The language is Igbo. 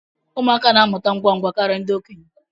Ụmụaka na-amụta ngwa ngwa karịa ndị okenye